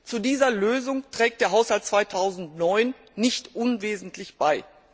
Zu dieser Lösung trägt der Haushalt 2009 nicht unwesentlich bei.